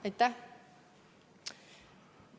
Aitäh!